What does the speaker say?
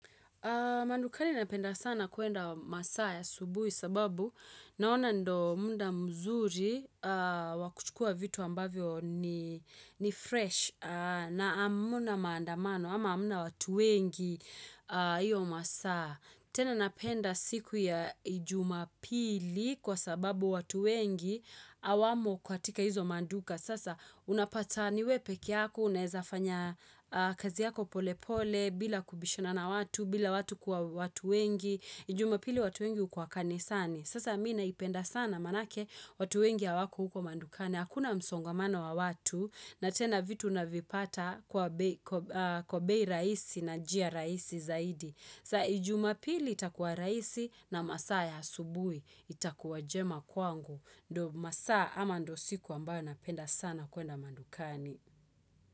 Madukani napenda sana kuenda masaa ya asubuhi sababu naona ndo muda mzuri wa kuchukua vitu ambavyo ni fresh na amuna maandamano ama amuna watu wengi iyo masaa. Tena napenda siku ya jumapili kwa sababu watu wengi awamo katika hizo maduka. Sasa unapata niwe pekee yako, unaezafanya kazi yako pole pole, bila kubishana na watu, bila watu kwa watu wengi. Jumapili watu wengi hukuwa kanisani. Sasa mi naipenda sana manake watu wengi hawako huko madukani. Hakuna msongamano wa watu na tena vitu unavipata kwa bei rahisi na njia rahisi zaidi. Sa jumapili itakuwa rahisi na masaa ya asubuhi itakuwa jema kwangu. Ndo masaa ama ndo siku ambayo napenda sana kuenda madukani.